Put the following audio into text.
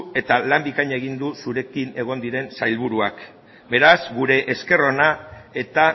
eta lan bikaina egin du zurekin egon diren sailburuak beraz gure esker ona eta